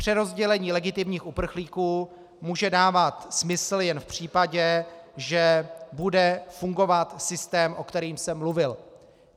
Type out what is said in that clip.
Přerozdělení legitimních uprchlíků může dávat smysl jen v případě, že bude fungovat systém, o kterém jsem mluvil.